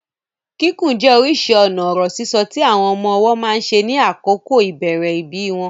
Kíkùn jẹ́ orísìí ọ̀nà ọ̀rọ̀ sísọ tí àwọn ọmọ ọwọ́ máa ń ṣe ní àkókò ìbẹ̀rẹ̀ ìbí wọn.